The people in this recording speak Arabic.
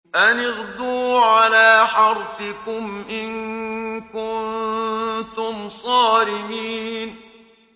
أَنِ اغْدُوا عَلَىٰ حَرْثِكُمْ إِن كُنتُمْ صَارِمِينَ